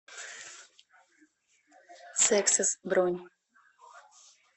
сексес бронь